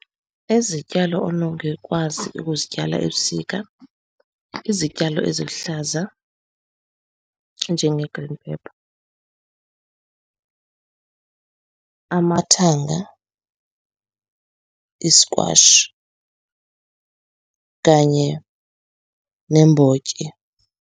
Izityalo onongekwazi ukuzityala ebusika, izityalo eziluhlaza, njenge-green pepper, amathanga, i-squash kanye neembotyi.